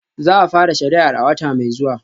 Za a fara shari'ar a wata mai zuwa